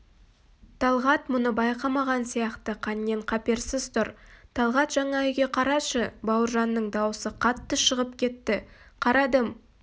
талғат мұны байқамаған сияқты қаннен-қаперсіз тұр талғат жаңа үйге қарашы бауыржанның даусы қатты шығып кетті қарадым